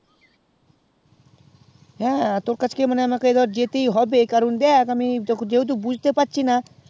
হ্যাঁ তোর কাছকে আমাকে যেতে হবে কারণ দেখ আমি যখন যে হেতু বুঝতে পারছিনা